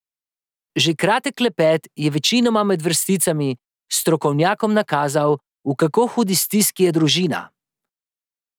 Že kratek klepet je, večinoma med vrsticami, strokovnjakom nakazal, v kako hudi stiski je družina.